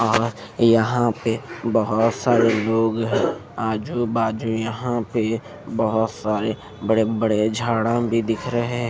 आह यहाँ पे बहुत सारे लोग हैं आजू बाजू यहाँ पे बहुत सारे बड़े बड़े झाड़ा भी दिख रहे हैं।